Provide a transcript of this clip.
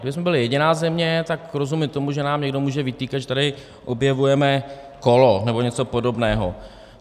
Kdybychom byli jediná země, tak rozumím tomu, že nám někdo může vytýkat, že tady objevujeme kolo nebo něco podobného.